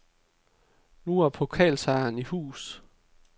Nu er pokalsejren i hus.